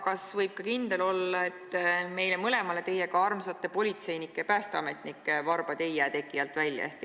Kas võib kindel olla, et meile mõlemale armsate politseinike ja päästeametnike varbad ei jää teki alt välja?